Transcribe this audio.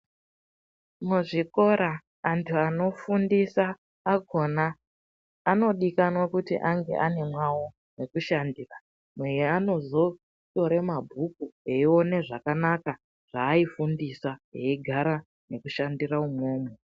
Muzvikora antu anofundisa akhona anodikanwa kuti ange ana mwawo mwekushandisa mweanozotore mabhuku eione zvakanaka zvaifundisa eigara nekushandira imwomwo.